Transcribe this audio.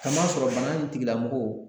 Kamasɔrɔ bana in tigilamɔgɔw